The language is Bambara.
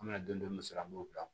An bɛna don dɔ sira b'ola